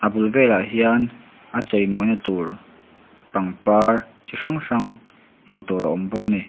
bul velah hian a chei mawina tur pangpar chi hrang hrang hmuh tur a awm bawk a ni.